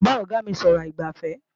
Mò ń bá Ọ̀gá mí sọ̀rọ̀ aìgbàfẹ́